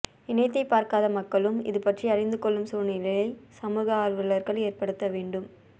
இணையத்தைப் பார்க்காத மக்களும் இது பற்றி அறிந்து கொள்ளும் சூழ்நிலையை சமூக ஆர்வலர்கள் ஏற்படுத்தவேண்டும்